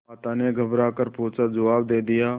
माता ने घबरा कर पूछाजवाब दे दिया